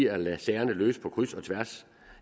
at lade sagerne løse på kryds og tværs